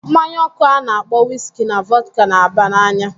Mmanya ọkụ a na-akpọ wiski na vodka na-aba n'anya.